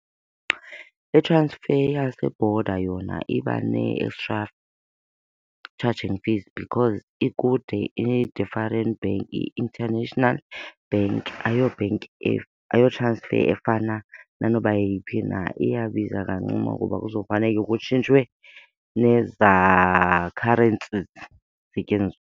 I-transfer yase-border yona iba nee-extra charging fees because ikude ine-different bank. Yi-international bank ayobhenki, ayo-transfer efana nanoba yeyiphi na. Iyabiza kancinci kuba kuzofaneka kutshintshwe nezaa currencies zisetyenziswa.